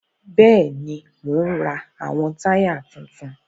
Bẹẹni, Mo n ra awọn taya tuntun